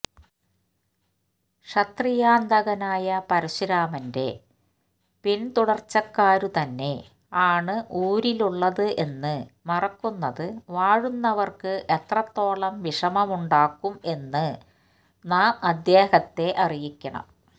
ക്ഷത്രിയാന്തകനായ പരശുരാമന്റെ പിന്തുടര്ച്ചക്കാരുതന്നെ ആണ് ഊരിലുള്ളത് എന്ന് മറക്കുന്നത് വാഴുന്നവര്ക്ക് എത്രത്തോളം വിഷമമുണ്ടാക്കും എന്ന് നാം അദ്ദേഹത്തെ അറിയിക്കണം